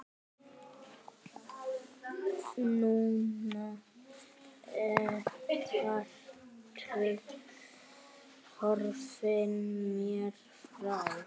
Núna ertu horfin mér frá.